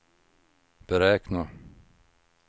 beräkna